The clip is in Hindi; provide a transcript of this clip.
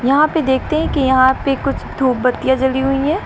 यहां पर देखते हैं कि यहां पर कुछ धूप बत्तियां जली हुई हैं।